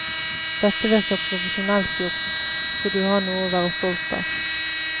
Dette virker profesjonelt gjort, så du har noe å være stolt av.